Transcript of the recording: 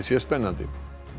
sé spennandi